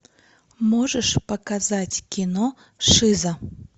можешь показать кино шиза